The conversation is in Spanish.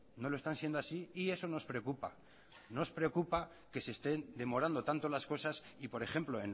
no lo están siendo así y eso nos preocupa nos preocupa que se estén demorando tanto las cosas y por ejemplo